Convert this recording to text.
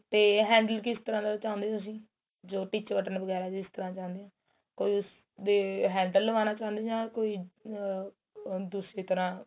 ਤੇ handle ਕਿਸ ਤਰਾਂ ਦਾ ਚਾਉਂਦੇ ਓ ਤੁਸੀਂ ਜੋ teacher button ਵਗੈਰਾ ਜੋ ਇਸ ਤਰਾਂ ਚਾਉਂਦੇ ਓ ਕੋਈ ਉਸ ਤੇ handle ਲਗਵਾਣਾ ਚਾਉਂਦੇ ਓ ਜਾਂ ਕੋਈ ਆ ਦੂਸਰੀ ਤਰਾਂ